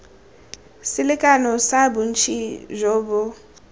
selekano sa bontsi jo bo